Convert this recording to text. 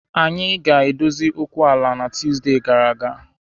Anyị gaara edozi okwu ala a na Tuesday gara aga